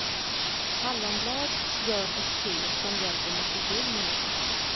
Hallonblad, gör ett te som hjälper mot förkylningar.